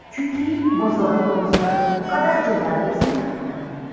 Chunki bozorning o‘zi bu qadar jadal o‘smayapti.